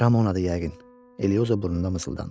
Ramona'dır yəqin, Elioza burnunda mısıldandı.